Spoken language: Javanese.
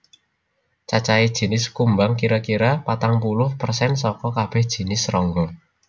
Cacahé jinis kumbang kira kira patang puluh persen saka kabèh jinis srangga